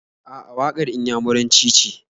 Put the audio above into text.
A'a, waƙar Inyamuranci ce.